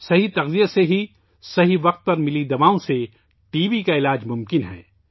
T B کا علاج صحیح خوراک، صحیح وقت پر صحیح ادویات سے ہی ممکن ہے